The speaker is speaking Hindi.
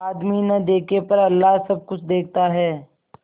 आदमी न देखे पर अल्लाह सब कुछ देखता है